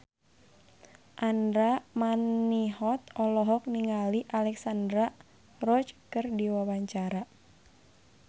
Andra Manihot olohok ningali Alexandra Roach keur diwawancara